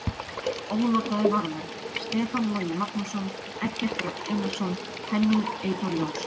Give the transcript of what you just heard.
Ónotaðir varamenn: Stefán Logi Magnússon, Eggert Rafn Einarsson, Henning Eyþór Jónsson.